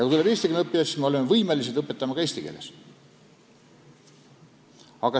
Kui tulevad eestikeelsed õppijad, siis me oleme võimelised õpetama ka eesti keeles.